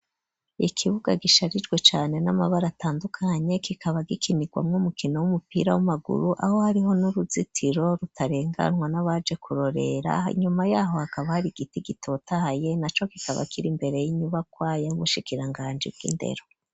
Ikibuga gisharijwe cane n'amabara atandukanye, kikaba gikinirwamwo umukino w'umupira w'amaguru, aho hariho n'uruzitiro rutarenganwa n'abaje kurorera; inyuma y'aho hakaba hari igiti gitotahaye naco kikaba kiri imbere y'inyubakwa y'ubushikiranganji bw'indero.